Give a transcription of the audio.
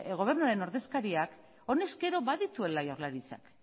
gobernuaren ordezkariak honezkero badituela jaurlaritzak